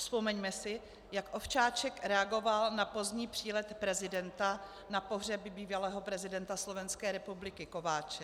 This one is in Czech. Vzpomeňme si, jak Ovčáček reagoval na pozdní přílet prezidenta na pohřeb bývalého prezidenta Slovenské republiky Kováče.